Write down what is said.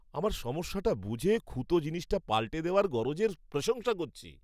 আমার সমস্যাটা বুঝে খুঁতো জিনিসটা পাল্টে দেওয়ার গরজের প্রশংসা করছি!